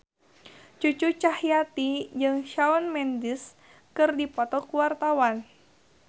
Cucu Cahyati jeung Shawn Mendes keur dipoto ku wartawan